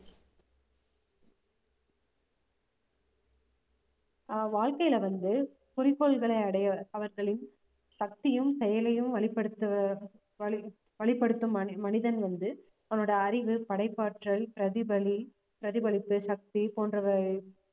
ஆஹ் வாழ்க்கையில வந்து குறிக்கோள்களை அடைய அவர்களின் சக்தியும் செயலையும் வெளிப்படுத்த வழி~ வழிப்படுத்தும் மனி~ மனிதன் வந்து அவனோட அறிவு படைப்பாற்றல் பிரதிபலி~ பிரதிபலிப்பு சக்தி போன்றவை